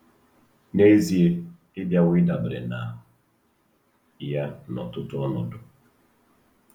N'ezie, ị bịawo ịdabere na ya n'ọtụtụ ọnọdụ.